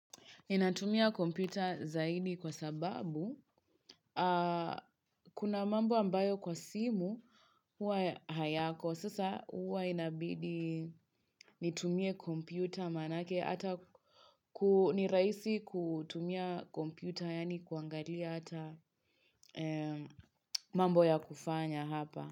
Ninatumia kompyuta zaidi kwa sababu kuna mambo ambayo kwa simu huwa hayako. Sasa huwa inabidi nitumie kompyuta manake ata kunirahisi kutumia kompyuta yaani kuangalia ata mambo ya kufanya hapa.